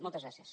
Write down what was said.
moltes gràcies